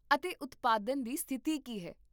ਅਤੇ ਉਤਪਾਦਨ ਦੀ ਸਥਿਤੀ ਕੀ ਹੈ?